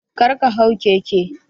Karka hau keke.